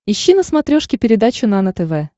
ищи на смотрешке передачу нано тв